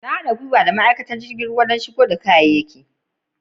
N'na bukatan haɗi da ma'aikaci jirigin ruwa dan shigo da kayaki.